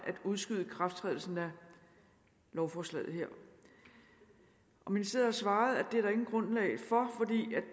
at udskyde ikrafttrædelsen af lovforslaget her og ministeriet har svaret at